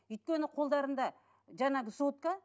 өйткені қолдарында жаңағы сотка